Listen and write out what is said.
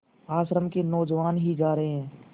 आश्रम के नौजवान ही जा रहे हैं